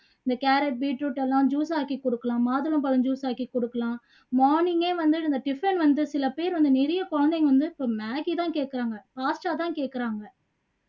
இந்த carrot, beet root எல்லாம் juice ஆக்கி கொடுக்கலாம் மாதுளம்பழம் juice ஆக்கி குடுக்கலாம் morning ஏ வந்து இந்த tiffin வந்து சில பேர் வந்து நிறைய குழந்தைங்க வந்து so maggi தான் கேக்குறாங்க தான் கேக்குறாங்க